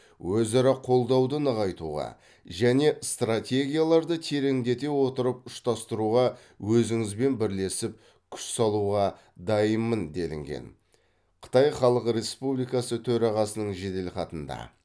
өзара қолдауды нығайтуға және стратегияларды тереңдете отырып ұштастыруға өзіңізбен бірлесіп күш салуға дайынмын делінген қытай халық республикасы төрағасының жеделхатында